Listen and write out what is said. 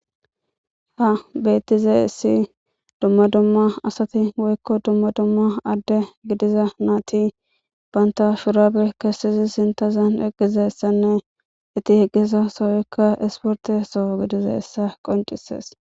ha beettize issi dumma dumma asati woykko dumma dumma adde gidiza naati banta shurabe kessizi sintazan eqqizessanne iti heqqisa soykka esporte so gidize essa qoncises